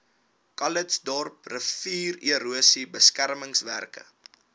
calitzdorp riviererosie beskermingswerke